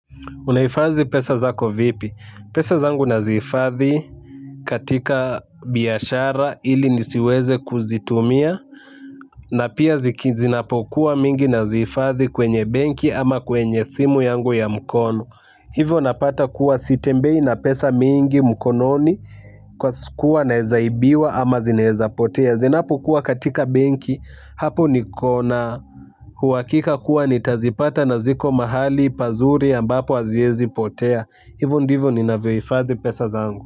Unahifadhi pesa zako vipi? Pesa zangu nazihifadhi katika biashara ili nisiweze kuzitumia. Na pia zinapokuwa mingi nazihifadhi kwenye benki ama kwenye simu yangu ya mkono. Hivyo unapata kuwa sitembei na pesa mingi mkononi kwa kuwa naeza ibiwa ama zinaezapotea. Zinapokuwa katika benki hapo nikona uhakika kuwa nitazipata na ziko mahali pazuri ambapo haziezipotea. Tea, hivyo ndivyo ninavyohifadhi pesa zangu.